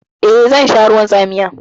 Eh, zan sha ruwan tsamiya.